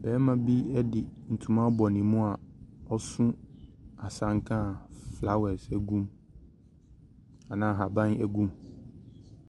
barima bi di ntoma abɔ ne mu asanka flowers ɛgum anaa ahaban gu mu.